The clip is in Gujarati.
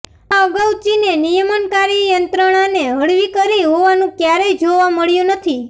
આ અગાઉ ચીને નિયમનકારી યંત્રણાને હળવી કરી હોવાનું કયારેય જોવા મળ્યું નથી